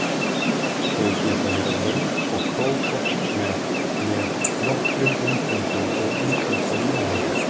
Þau geta verið löng og krókótt með með nokkrum inngöngum og undankomuleiðum.